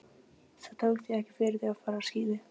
Það tók því ekki fyrir þau að fara á skíði.